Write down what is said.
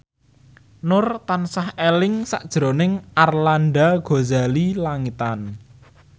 Nur tansah eling sakjroning Arlanda Ghazali Langitan